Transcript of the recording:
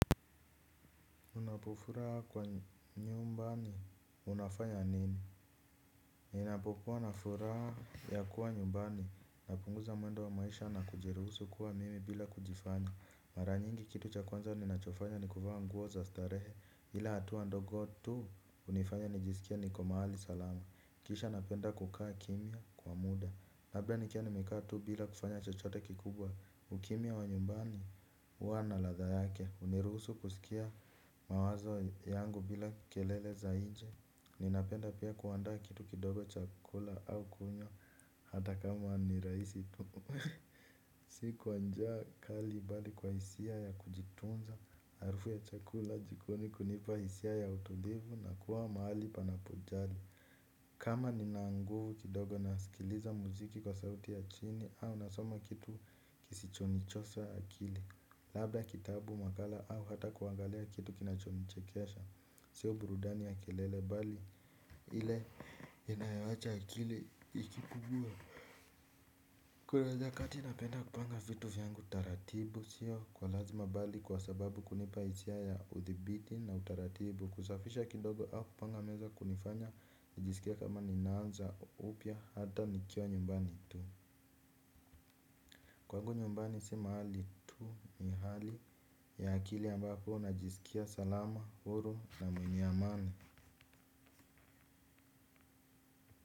Unapofuraha kwa nyumbani, unafanya nini? Ninapokuwa na furaha ya kuwa nyumbani, napunguza mwendo wa maisha na kujiruhusu kuwa mimi bila kujifanya. Mara nyingi kitu cha kwanza ninachofanya ni kuvaa nguo za starehe, ila hatua ndogo tu hunifanya nijisikie niko mahali salama. Kisha napenda kukaa kimya kwa muda labda nikiwa nimekaa tu bila kufanya chochote kikubwa ukimya wa nyumbani, huwa na ladha yake. Huniruhusu kusikia mawazo yangu bila kelele za nje. Ninapenda pia kuandaa kitu kidogo chakula au kunywa hata kama ni rahisi tu si kwa njaa kali bali kwa hisia ya kujitunza. Harufu ya chakula jikoni kunipa hisia ya utulivu na kuwa mahali panapojali. Kama nina nguvu kidogo nasikiliza muziki kwa sauti ya chini au nasoma kitu kisichonichosha akili labda kitabu makala au hata kuangalia kitu kinachonichekesha sio burudani ya kelele bali ile inayowacha akili ikipungua. Kuna nyakati napenda kupanga vitu vyangu taratibu sio kwa lazima bali kwa sababu kunipa hisia ya uthibiti na utaratibu kusafisha kidogo au kupanga meza kunifanya nijisikie kama ninaanza upya hata nikiwa nyumbani tu. Kwangu nyumbani si mahali tu ni hali ya akili ambapo najisikia salama, huru na mwenye amani.